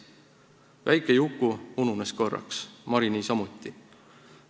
Väike Juku ununes korraks, Mari niisamuti.